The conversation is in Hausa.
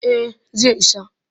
Eh zai isa